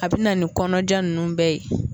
A bina ni kɔnɔja nunnu bɛɛ ye